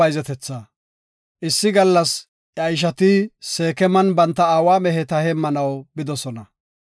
Issi gallas iya ishati Seekeman banta aawa meheta heemmanaw bidosona.